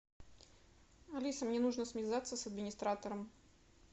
алиса мне нужно связаться с администратором